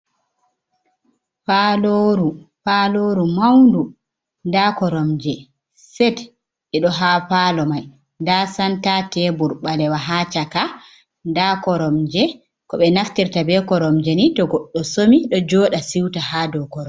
Paalooru mawndu, nda koromje set ɗo haa paalo may, nda santa teebur ɓaleewa haa caka, nda koromje, ko ɓe naftirta be koromje ni to goɗɗo somi ɗo jooɗa siwta hɗa dow korwal.